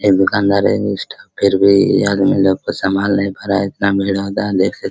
ऐ दुकानदार ये भी आदमी लोग को समान लेकर खड़ा है एतना भीड़ होता देख सक --